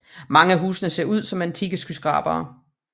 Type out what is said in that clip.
Mange af husene ser ud som antikke skyskrabere